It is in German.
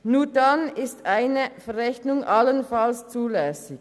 Nur dann ist eine Verrechnung allenfalls zulässig.